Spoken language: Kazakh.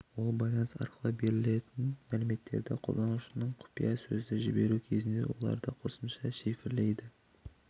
ол байланыс арқылы берілетін мәліметтерді қолданушының құпия сөзді жіберу кезінде оларды қосымша шифрлейді